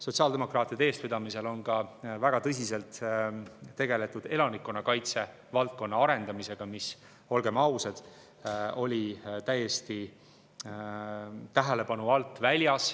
Sotsiaaldemokraatide eestvedamisel on ka väga tõsiselt tegeldud elanikkonnakaitse valdkonna arendamisega, mis, olgem ausad, oli jäänud täiesti tähelepanu alt välja.